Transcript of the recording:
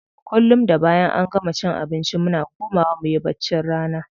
Kullum da bayan an gama cin abinci muna komawa muyi baccin rana.